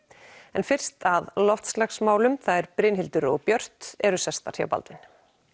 en fyrst að loftslagsmálum þær Brynhildur og Björt eru sestar hjá Baldvin